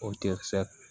O tɛ sɛ